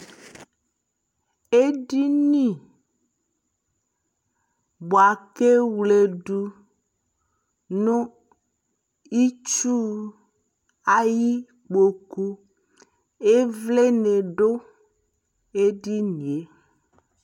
Ɛdini bua kɛ wle du nu itsu ayi kpoku Ivli nu du ɛdini yɛ